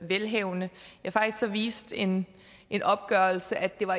velhavende faktisk viste en en opgørelse at det var